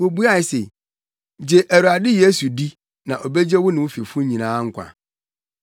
Wobuae se, “Gye Awurade Yesu di na obegye wo ne wo fifo nyinaa nkwa.”